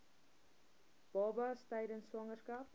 babas tydens swangerskap